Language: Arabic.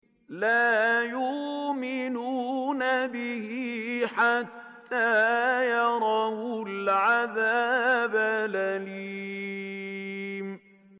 لَا يُؤْمِنُونَ بِهِ حَتَّىٰ يَرَوُا الْعَذَابَ الْأَلِيمَ